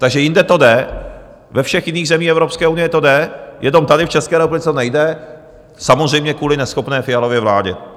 Takže jinde to jde, ve všech jiných zemích Evropské unie to jde, jenom tady v České republice to nejde, samozřejmě kvůli neschopné Fialově vládě.